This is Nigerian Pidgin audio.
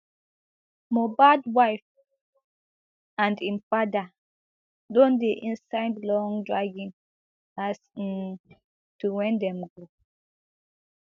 mohbad wife and im father don dey inside long dragging as um to wen dem go